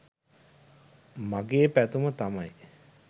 මගේ පැතුම තමයි